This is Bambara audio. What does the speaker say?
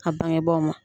A bangebaaw ma